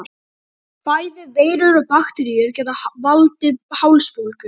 bæði veirur og bakteríur geta valdið hálsbólgu